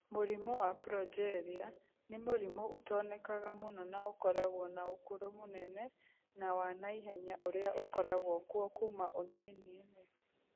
Mũrimũ wa Progeria nĩ mũrimũ utonekaga mũno na ũkoragwo na ũkũrũ mũnene na wa na ihenya ũrĩa ũkoragwo kuo kuuma ũnini-inĩ.